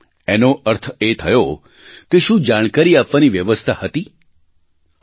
એનો અર્થ એ થયો કે શું જાણકારી આપવાની વ્યવસ્થા હતી હતી